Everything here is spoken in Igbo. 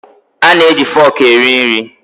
A na-eji foku eri nri.